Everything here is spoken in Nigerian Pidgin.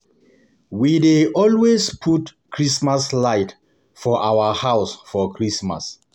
We dey always put Chrismas light for our house for Christmas.